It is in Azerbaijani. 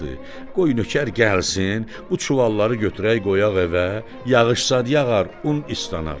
Qoy nökər gəlsin, bu çuvalları götürək qoyaq evə, yağış zad yağar, un islanar.